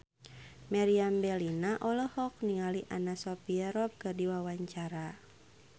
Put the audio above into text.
Meriam Bellina olohok ningali Anna Sophia Robb keur diwawancara